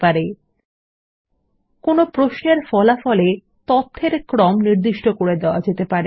আপনি এখানে ফলাফল এ তথ্যের ক্রম নির্দিষ্ট করতে পারেন